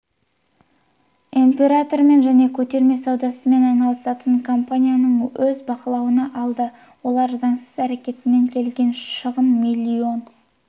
импортымен және көтермен саудасымен айналысатын компаниямды өз бақылауына алды олардың заңсыз әрекетінен келген шығын миллион